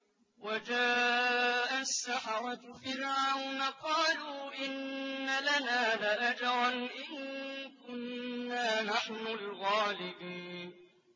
وَجَاءَ السَّحَرَةُ فِرْعَوْنَ قَالُوا إِنَّ لَنَا لَأَجْرًا إِن كُنَّا نَحْنُ الْغَالِبِينَ